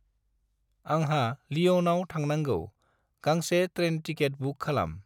आंहा लिय'नाव थांनांगौ, गांसे ट्रेन टिकेट बुक खालाम।